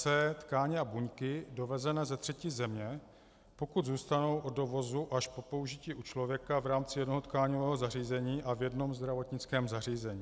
c) tkáně a buňky dovezené ze třetí země, pokud zůstanou od dovozu až po použití u člověka v rámci jednoho tkáňového zařízení a v jednom zdravotnickém zařízení.